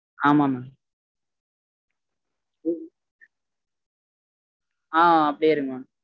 ஆமா mam ஹா அப்டியே இருங்க mam